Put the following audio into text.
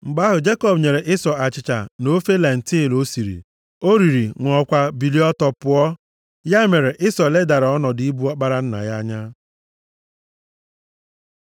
Mgbe ahụ, Jekọb nyere Ịsọ achịcha na ofe lentil o siri. O riri, ṅụọkwa, bilie ọtọ pụọ. Ya mere Ịsọ ledara ọnọdụ ịbụ ọkpara nna ya anya.